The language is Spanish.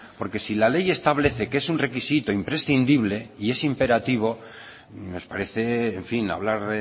porque si la ley establece que es un requisito imprescindible y es imperativo nos parece en fin hablar